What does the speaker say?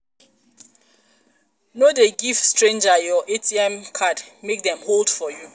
no um dey give stranger your um atm card make dem hold for you